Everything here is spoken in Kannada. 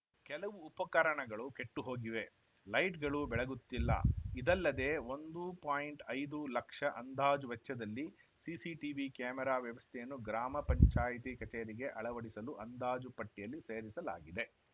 ಕೆಲವು ಉಪಕರಣಗಳು ಕೆಟ್ಟುಹೋಗಿವೆ ಲೈಟ್‌ಗಳು ಬೆಳಗುತ್ತಿಲ್ಲ ಇದಲ್ಲದೆ ಒಂದು ಪಾಯಿಂಟ್ ಐದು ಲಕ್ಷ ಅಂದಾಜು ವೆಚ್ಚದಲ್ಲಿ ಸಿಸಿ ಟಿವಿ ಕ್ಯಾಮೆರಾ ವ್ಯವಸ್ಥೆಯನ್ನು ಗ್ರಾಮ ಪಂಚಾಯತಿ ಕಚೇರಿಗೆ ಅಳವಡಿಸಲು ಅಂದಾಜು ಪಟ್ಟಿಯಲ್ಲಿ ಸೇರಿಸಲಾಗಿದೆ